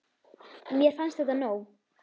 Mér fannst þetta nóg.